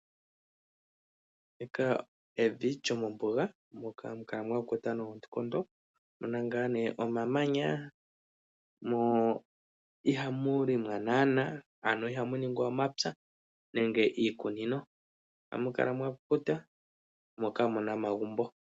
Ndika evi lyomombuga moka hamu kala mwa kukuta noonkondo muna ngaa nee omamanya, mo ihamu limwa naana, ano ihamu ningwa omapya nenge iikunino. Ohamu kala mwa kukuta mo kamu na omagumbo.